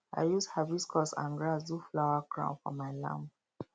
i use hibiscus and grass do flower crown for my lamb